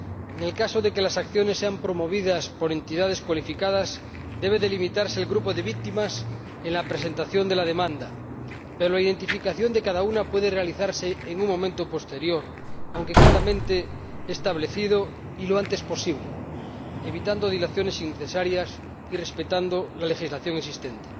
En el caso de que las acciones sean promovidas por entidades cualificadas, debe delimitarse el grupo de víctimas en la presentación de la demanda, pero la identificación de cada una puede realizarse en un momento posterior, aunque claramente establecido y lo antes posible, evitando dilaciones innecesarias y respetando la legislación existente.